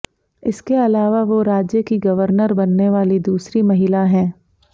इसके अलावा वो राज्य की गवर्नर बनने वाली दूसरी महिला हैं